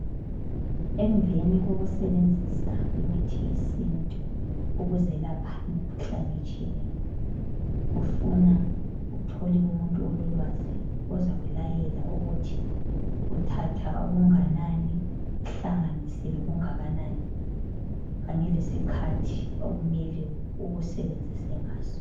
Emveni kokusebenzisa imithi yesintu ukuzelapha imikhuhlane etshiyeneyo, kufuna uthole umuntu ololwazi ozakulayela ukuthi uthatha okunganani uhlanganise lokungakanani kanye lesikhathi okumele ukusebenzise ngaso.